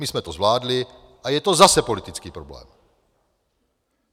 My jsme to zvládli, a je to zase politický problém.